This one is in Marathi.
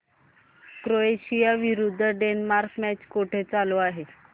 क्रोएशिया विरुद्ध डेन्मार्क मॅच कुठे चालू आहे